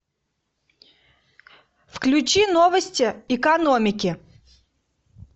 включи новости экономики